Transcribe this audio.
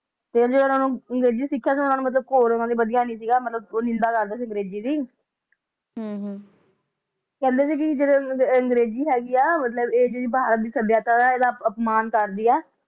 ਫੇਰ ਵੀ ਓਹਨਾ ਨੂੰ ਅੰਗਰੇਜ਼ੀ ਸਿੱਖਿਆ ਸੀ ਹੋਰ ਓਹਨਾ ਨੂੰ ਵਧੀਆ ਨੀ ਸੀਗਾ ਮਤਲਬ ਨਿੰਦਿਆ ਕਰਦੇ ਸੀ ਅੰਗਰੇਜ਼ੀ ਦ ਹਮ ਹਮ ਕਹਿੰਦੇ ਸੀ ਕਿ ਜਿਹੜੇ ਅੰਗਰੇਜ਼ੀ ਹੈਗੀ ਏ ਮਤਲਬ ਇਹ ਜਿਹੜੀ ਭਾਰਤ ਦੀ ਸਭਿਆਚਾਰ ਹੈ ਇਹਦਾ ਅਪਮਾਨ ਕਰਦੀ ਆ